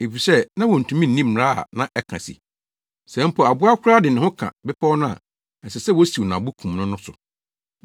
efisɛ na wontumi nni mmara a na ɛka se, “Sɛ mpo aboa koraa de ne ho ka bepɔw no a, ɛsɛ sɛ wosiw no abo kum no” no so.